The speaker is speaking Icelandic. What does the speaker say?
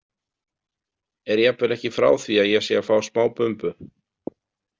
Er jafnvel ekki frá því að ég sé að fá smá bumbu.